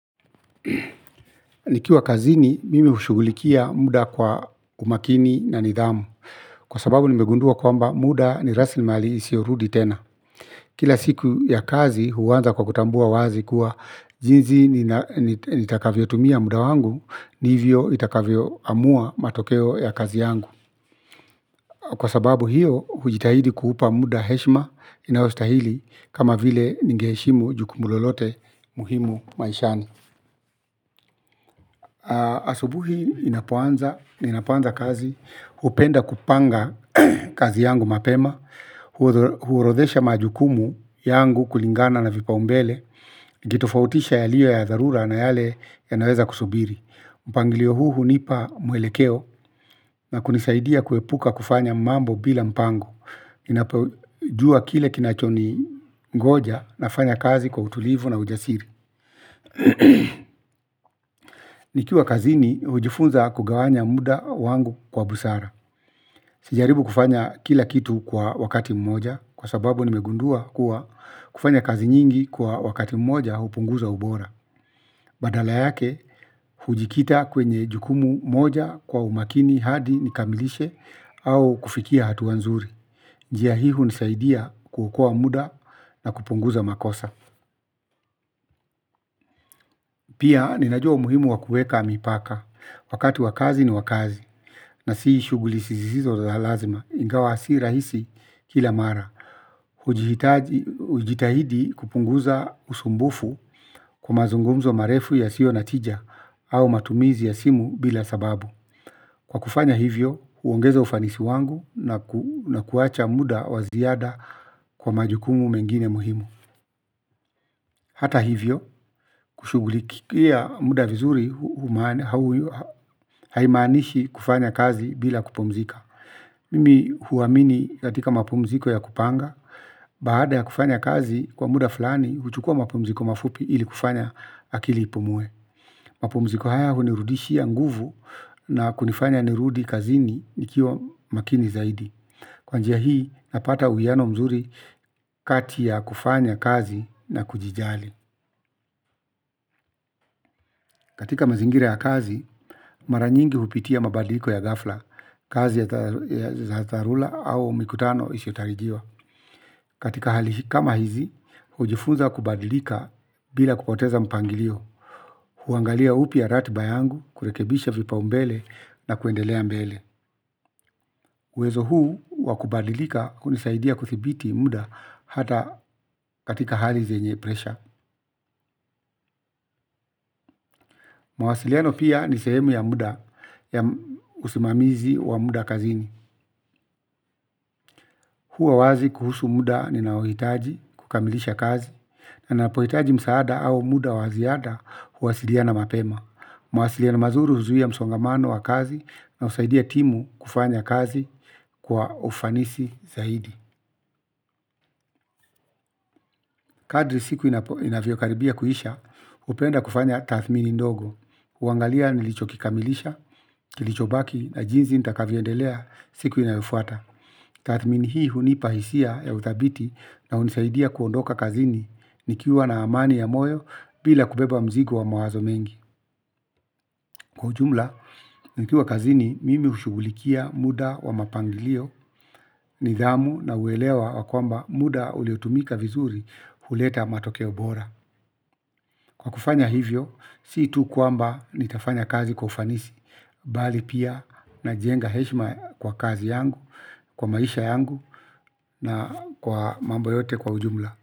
Nikiwa kazini mimi hushughulikia muda kwa umakini na nidhamu kwa sababu nimegundua kwamba muda ni rasilimali isiorudi tena. Kila siku ya kazi huanza kwa kutambua wazi kuwa jinsi nitakavyotumia muda wangu ndivyo itakavyoamua matokeo ya kazi yangu. Kwa sababu hiyo hujitahidi kuupa muda heshima inayostahili kama vile ningeheshimu jukumu lolote muhimu maishani. Asubuhi inapoanza, ninapoanza kazi, hupenda kupanga kazi yangu mapema. Huorodhesha majukumu yangu kulingana na vipaumbele. Ukitofautisha yaliyo ya dharura na yale yanaweza kusubiri. Mpangilio huu hunipa mwelekeo na kunisaidia kuepuka kufanya mambo bila mpango, inapajua kile kinachoningoja nafanya kazi kwa utulivu na ujasiri. Nikiwa kazini hujifunza kugawanya muda wangu kwa busara. Sijaribu kufanya kila kitu kwa wakati mmoja kwa sababu nimegundua kuwa kufanya kazi nyingi kwa wakati mmoja hupunguza ubora. Badala yake hujikita kwenye jukumu moja kwa umakini hadi nikamilishe au kufikia hatua nzuri. Njia hii hunisaidia kuokoa muda na kupunguza makosa. Pia ninajua umuhimu wa kuweka mipaka, wakati wa kazi ni kazi na si shughuli zisizo za lazima ingawa si rahisi kila mara. Hujitahidi kupunguza usumbufu kwa mazungumzo marefu yasiyo na tija au matumizi ya simu bila sababu. Kwa kufanya hivyo huongeza ufanisi wangu na kuacha muda wa ziada kwa majukumu mengine muhimu. Hata hivyo kushughulikia muda vizuri haimanishi kufanya kazi bila kupumzika. Mimi huwamini katika mapumziko ya kupanga. Baada ya kufanya kazi kwa muda fulani, huchukua mapumziko mafupi ili kufanya akili ipumue. Mapumziko haya hunirudishia nguvu. Na kunifanya nirudi kazini nikiwa makini zaidi. Kwa njia hii napata uwiano mzuri kati ya kufanya kazi na kujijali katika mazingira ya kazi mara nyingi hupitia mabadiko ya ghafla. Kazi ya dharura au mikutano isiotarijiwa. Katika hali kama hizi, hujifunza kubadilika bila kupoteza mpangilio. Huangalia upya ratiba yangu, kurekebisha vipaumbele na kuendelea mbele. Uwezo huu wakubadilika hunisaidia kudhibiti muda hata katika hali zenye presha. Mawasiliano pia ni sehemu ya muda, ya usimamizi wa muda kazini. Huwa wazi kuhusu muda ninaohitaji kukamilisha kazi. Na napohitaji msaada au muda wa ziada huwasiliana mapema. Mawasiliano mazuri huzuia msongamano wa kazi na husaidia timu kufanya kazi kwa ufanisi zaidi. Kadri siku inavyokaribia kuisha hupenda kufanya tathmini ndogo. Huangalia nilichokikamilisha, kilichobaki na jinsi nitakavyoendelea siku inayofuata. Tathmini hii hunipa hisia ya uthabiti na hunisaidia kuondoka kazini nikiwa na amani ya moyo bila kubeba mzigo wa mawazo mengi. Kwa ujumla, nikiwa kazini mimi hushughulikia muda wa mapangilio, nidhamu na uelewa wa kwamba muda uliotumika vizuri huleta matokeo bora. Kwa kufanya hivyo, si tu kwamba nitafanya kazi kwa ufanisi, bali pia najenga heshima kwa kazi yangu, kwa maisha yangu na kwa mambo yote kwa ujumla.